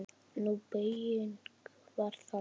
Sú beyging var þannig